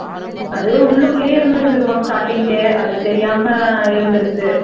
அது உள்ளுக்குள்ளேயே இருந்திருக்கும் starting கே அது தெரியாம இருந்திருக்கு